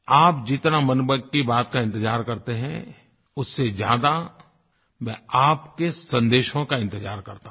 आप जितना मन की बात का इंतज़ार करते हैं उससे ज़्यादा मैं आपके संदेशों का इंतज़ार करता हूँ